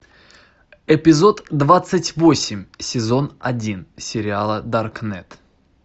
эпизод двадцать восемь сезон один сериала даркнет